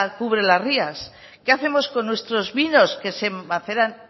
cubre las rías qué hacemos con nuestros vinos que se maceran